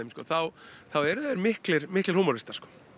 þá eru þeir miklir miklir húmoristar